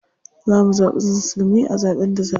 Za mu zaɓi musulmi a zaɓen da za a yi.